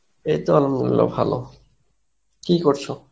এই তো Arbi ভালো, কি করছো?